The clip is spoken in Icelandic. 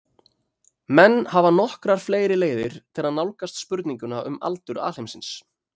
menn hafa nokkrar fleiri leiðir til að nálgast spurninguna um aldur alheimsins